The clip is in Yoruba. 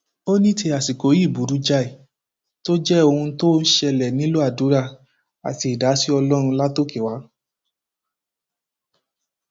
kì í ṣètọjú mi rárá nínú ilé bí mo bá béèrè owó oúnjẹ lọwọ rẹ kò ní í fún mi